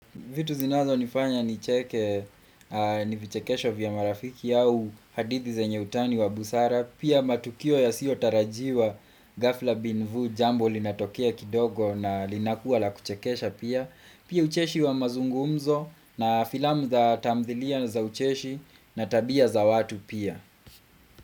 Vitu zinazo nifanya ni cheke, ni vichekesho vya marafiki yao hadithi zenye utani wa busara. Pia matukio ya siyo tarajiwa Gafla Binvu jambo linatokia kidogo na linakuwa la kuchekesha pia. Pia ucheshi wa mazungumzo na filamu za tamdhilia za ucheshi na tabia za watu pia.